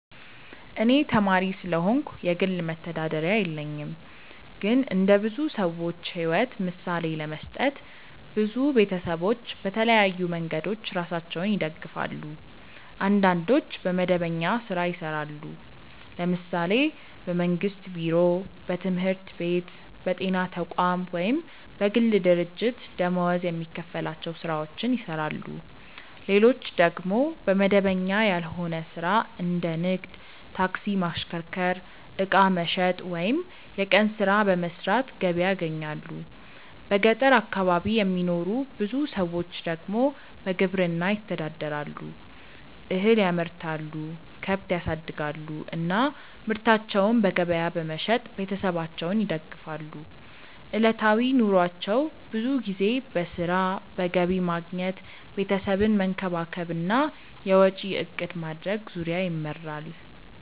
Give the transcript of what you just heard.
እኔ ተማሪ ስለሆንኩ የግል መተዳደሪያ የለኝም። ግን እንደ ብዙ ሰዎች ሕይወት ምሳሌ ለመስጠት፣ ብዙ ቤተሰቦች በተለያዩ መንገዶች ራሳቸውን ይደግፋሉ። አንዳንዶች በመደበኛ ሥራ ይሰራሉ፤ ለምሳሌ በመንግስት ቢሮ፣ በትምህርት ቤት፣ በጤና ተቋም ወይም በግል ድርጅት ደመወዝ የሚከፈላቸው ሥራዎችን ይሰራሉ። ሌሎች ደግሞ በመደበኛ ያልሆነ ሥራ እንደ ንግድ፣ ታክሲ ማሽከርከር፣ ዕቃ መሸጥ ወይም የቀን ሥራ በመስራት ገቢ ያገኛሉ። በገጠር አካባቢ የሚኖሩ ብዙ ሰዎች ደግሞ በግብርና ይተዳደራሉ፤ እህል ያመርታሉ፣ ከብት ያሳድጋሉ እና ምርታቸውን በገበያ በመሸጥ ቤተሰባቸውን ይደግፋሉ። ዕለታዊ ኑሯቸው ብዙ ጊዜ በሥራ፣ በገቢ ማግኘት፣ ቤተሰብን መንከባከብ እና የወጪ እቅድ ማድረግ ዙሪያ ይመራል።